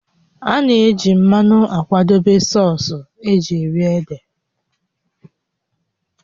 A na-eji mmanụ akwadebe sọọsụ́ eji eri ede